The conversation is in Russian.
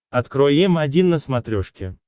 открой м один на смотрешке